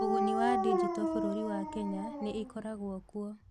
Ũguni wa Digito Bũrũri wa Kenya nĩ ĩkoragwo kuo